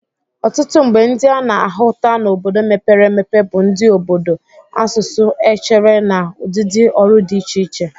Ọtụtụ mgbe ndị a na-ahụta n'obodo mepere emepe bụ ndị obodo, asụsụ, echere na ụdịdị ọrụ dị iche iche.